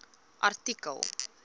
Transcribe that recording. artikel